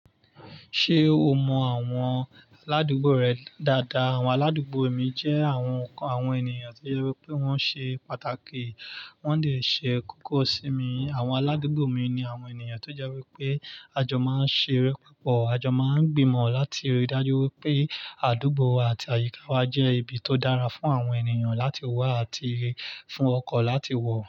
Ṣé o mọ àwọn aládùúgbò rẹ dáadáa? Àwọn aládùúgbò mi jẹ́ àwọn, àwọn ènìyàn tí ó yẹ pé wọ́n ṣe pàtàkì, wọ́n dè ṣe kókó sí mi. Àwọn aládùúgbò mi ni àwọn ènìyàn tó jẹ́ wípé a jọ máa ń ṣeré púpọ̀, a jọ máa ń gbìmọ̀ láti rí i dájú wípé àdúgbò àti àyíká wa jẹ́ ibi tó dára fún àwọn ènìyàn láti wá àti fún ọkọ̀ láti wọ̀.